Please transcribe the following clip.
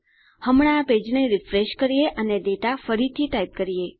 હમણાં આ પેજને રીફ્રેશ કરીશ અને ડેટા ફરીથી ટાઈપ કરીશ